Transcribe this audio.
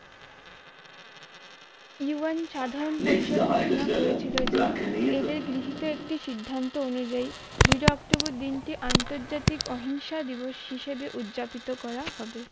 ইউভেন সাধন পরিশোধ ঘোষণা করেছিল যে এদের গৃহীত একটি সিদ্ধান্ত অনুযায়ী দুইরা অক্টোবর দিনটি আন্তর্জাতিক অহিংসা দিবস হিসেবে উদযাপিত করা হবে